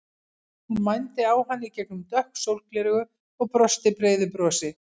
Hún mændi á hann í gegnum dökk sólgleraugu og brosti breiðu brosi.